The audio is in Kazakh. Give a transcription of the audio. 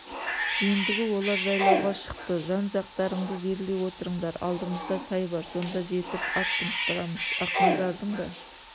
ендігі олар жайлауға шықты жан-жақтарыңды зерлей отырыңдар алдымызда сай бар сонда жетіп ат тынықтырамыз ақназардың да